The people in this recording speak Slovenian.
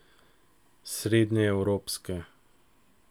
Srednjeevropske.